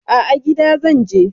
A'a, gida zan je.